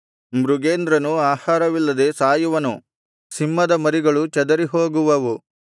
ಮೃಗೇಂದ್ರನು ಆಹಾರವಿಲ್ಲದೆ ಸಾಯುವನು ಸಿಂಹದ ಮರಿಗಳು ಚದರಿಹೋಗುವವು